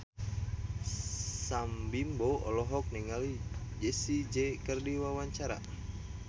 Sam Bimbo olohok ningali Jessie J keur diwawancara